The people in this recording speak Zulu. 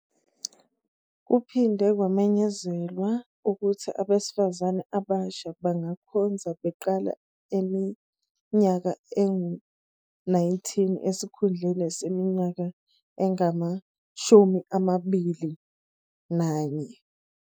Kuphinde kwamenyezelwa ukuthi abesifazane abasha bangakhonza beqala eneminyaka engu-19 esikhundleni seminyaka engama-21.